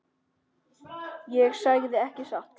Ég sagði ekki satt.